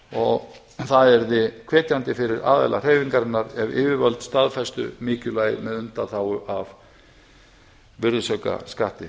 og það yrði hvetjandi fyrir aðila hreyfingarinnar ef yfirvöld staðfestu mikilvægi með undanþágu frá virðisaukaskatti